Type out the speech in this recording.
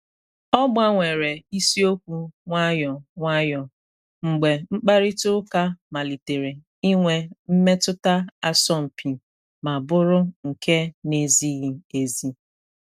O gbanwere isiokwu nwayọ nwayọ mgbe mkparịta ụka malitere inwe mmetụta asọmpi ma bụru nke na ezighi ezi.